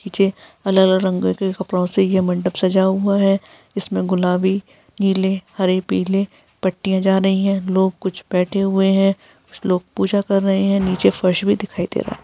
नीचे अलग -अलग रंगों के मंडप सजा हुआ हैं। इसमे गुलाबीनीले हरे पीले पट्टियाँ जा रही है लोग कुछ बैठे हुए हैं। कुछ लोग पूजा कर रहे हैं नीचे फर्श भी दिखाई दे रहा हैं।